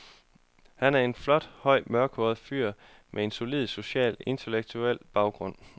Han er en flot, høj, mørkhåret fyr, med en solid social og intellektuel baggrund.